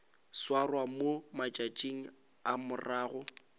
swarwa mo matšatšing a morago